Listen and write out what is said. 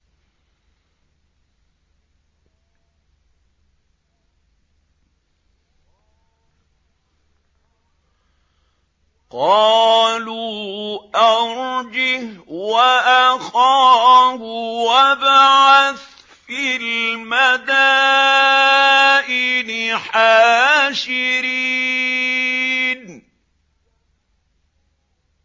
قَالُوا أَرْجِهْ وَأَخَاهُ وَابْعَثْ فِي الْمَدَائِنِ حَاشِرِينَ